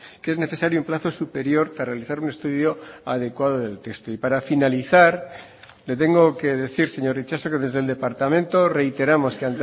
que es necesario un plazo superior para realizar un estudio adecuado del texto y para finalizar le tengo que decir señor itxaso que desde el departamento reiteramos que